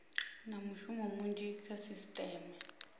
na mushumo munzhi kha sisiteme